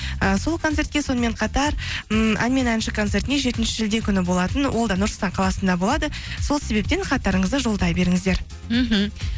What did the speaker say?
і сол концертке сонымен қатар ммм ән мен әнші концертіне жетінші шілде күні болатын ол да нұр сұлтан қаласында болады сол себептен хаттарыңызды жолдай беріңіздер мхм